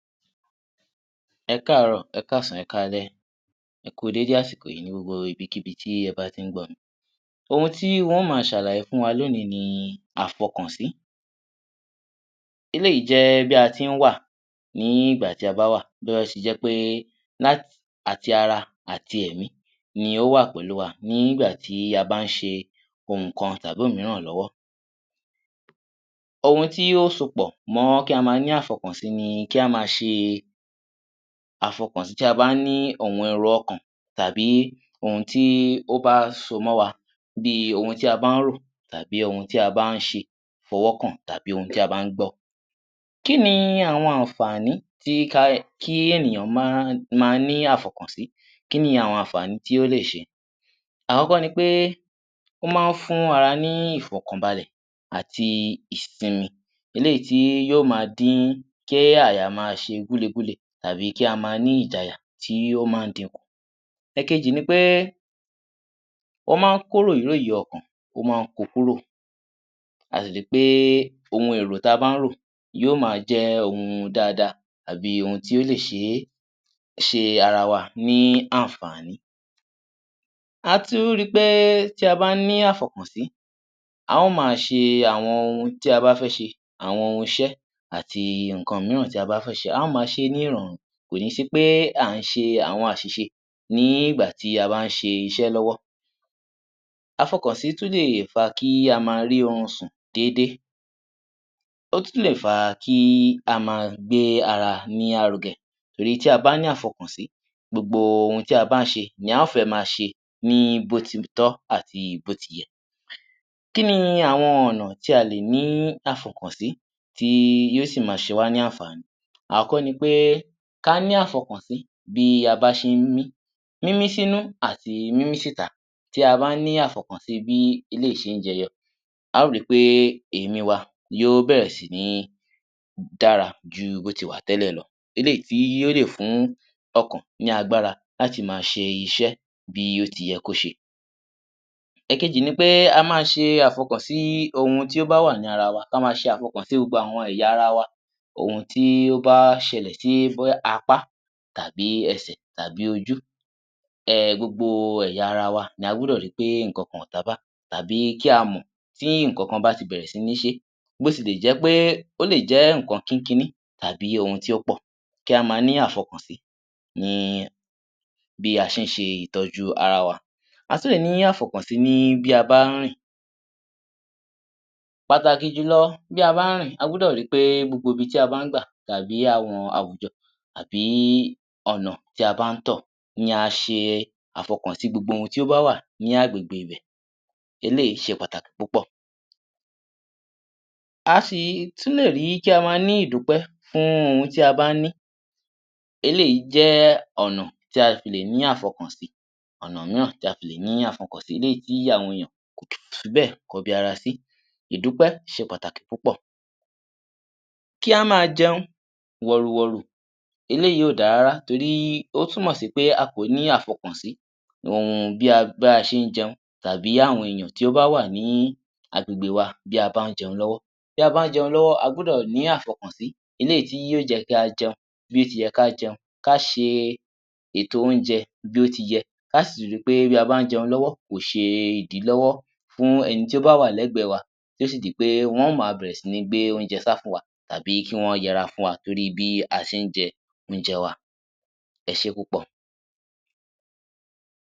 Ẹkáàárọ̀ ẹkáàsán ẹkáalẹ́, ẹ kú dédé àsìkò yìí ní gbogbo ibi kíbi tí ẹ bá ti ń gbọ́ mi. Ohun tí mó ma ṣàlàyé fún wa lónìí ni àfọkànsí eléyìí jẹ́ bí a tín wà nígbà tí a bá wà bó bá sì jẹ́ pé àti ara ati èmi ló wà pẹ̀lú wa nígbà tí a bá ń ṣe nǹkan tàbí òmíràn lọ́wọ́. Ohun tí ó so pọ̀ mọ́ kí a ní àfọkànsí ni kí a má ṣe àfọkànsí tí a bá ní ohun ẹ̀rọ ọkàn tàbí ohun tó bá so mọ́ wa bí tí a bá ń rò tàbí ohun tí a bá ń ṣe fọwọ́ kàn tàbí ohun tí a bá ń gbọ́. Kí ni àwọn àǹfààní tí ènìyàn máa ń ní àfọkànsí, kí ni àwọn àǹfààní tó lè ṣe, àkọ́kọ́ ni pé ó máa ń fún ara ní ìfọkànbalẹ̀ àti ìsínmi eléyìí tí yóò ma dín kí àyà ma ṣe gúle gúle tàbí kí a má ní ìjayà tí ó máa ń di kùn. Ẹ̀kejì ni pé ó máa ń kó ròyí ròyí ọkàn ó máa ń ko kúrò àti pé ohun èrò tí a bá ń rò yóò ma jẹ ohun dáàda àbí ohun tí ó lè ṣe ara wa ni àǹfààní. A tún rí pé tí a bá ní àfọkànsí, a ó ma ṣe àwọn ohun tí a bá fẹ́ se àwọn ohun ìṣe àti nǹkan mìíràn tí a bá fẹ́ ṣe a ó mà ṣé ní ìrọ̀rùn kò ní sí pé à ń ṣe àwọn àṣìṣe nígbà tí a bá ń ṣiṣẹ́ lọ́wọ́. àfọkànsí tún lè fa kí a má rí orun sùn dédé, ó tún lè fà kí a má gbé ara ní arugẹ torí tí a bá ní àfọkànsí gbogbo tí a bá ń ṣe ni a ó fé má ṣe ní bó ti tọ́ àti bó ti yẹ. Kí ni àwọn ọ̀nà tí a lè ní àfọkànsí tí yóò sì ma ṣe wá ní àǹfààní, àkọ́kọ́ ni pé ka ní àfọkànsí bí a bá ṣe ń mí, mímí sínú àti mímí síta tí aba ni àfọkànsí bí eléyìí ṣe ń jẹyọ a ó ri pé ìmí wa yóò bẹ̀rẹ̀ si dára ju bó ti wà tẹ́lẹ̀ lọ eléyìí tó lè fún ọkàn ní agbára láti má ṣe iṣẹ́ bí ó ti yẹ kó ṣe. Èkejì ni pé kí a ma ṣe àfọkànsí sí ohùn tí ó wà lára wa, kí a má ṣe àfọkànsí sì gbogbo ẹ̀yà ara wa, ohun tí ó bá ṣẹlẹ̀ sí bóyá apá àbí ẹsẹ̀ tàbí ojú gbogbo ẹ̀yà ara wa la gbọ́dọ̀ ri pé nǹkan kan kò tabá àbí kí a mọ̀ tí nǹkan kan bá ti bẹ̀rẹ̀ sí ní ṣe é ó lè jẹ́ nǹkan kínkiní àbí ohun tí ó pọ̀, kí a ma ní àfọkànsí ni bí a ṣe ń ṣe ìtọ́jú ara wa, a tún lè ní àfọkànsí ní bí a bá ń rìn, pàtàkì jùlọ bí a bá ń rìn a gbọ́dọ̀ ri pé gbogbo ibi tí a bá ń gbà àbí tàbí àwọn àwùjọ àbí ọ̀nà tí a bá ń tọ̀ ni a ṣe àfọkànsí gbogbo ohun tí ó bá wà ní agbègbè ibẹ̀ eléyìí ṣe pàtàkì púpọ̀. A sì tún lè rí kí a má ní ìdúpẹ̀ fún ohun tí a bá ní, eléyìí jẹ́ ọ̀nà tí a fi lè ní àfọkànsí eléyìí tí àwọn èèyàn kò fi bẹ̀ kọbi ara sí, ìdúpẹ́ ṣe pàtàkì púpọ̀. Kí a má jẹun wọ̀rù wọ̀rù eléyìí kò da rárá nítorí ó túnmọ̀ sí pé a kò ní àfọkànsí bí a ṣé ń jẹun tàbí àwọn ènìyàn tó bá wà ní agbègbè wa bí a bà ń jẹun lọ́wọ́. Bí a bá ń jẹun lọ́wọ́ a gbọ́dọ̀ ní àfọkànsí eléyìí tí yóò jẹ́kí a jẹun bí ó ti yẹ kí a jẹun, ká ṣe ètò oúnjẹ bí ó ti yẹ, ká sì rí pé bí a bá ń jẹun lọ́wọ́ kò ṣe ìdílọ́wọ́ fún ẹni tó bá wà lẹ́gbẹ̀ wa tó sì di pé wọ́n á ma bẹ̀rẹ̀ sí ń gbé oúnjẹ sá fún wa àbí kí wọ́n yara fún wa nítorí bí a ṣé ń jẹ oúnjẹ wa. Ẹ ṣé púpọ̀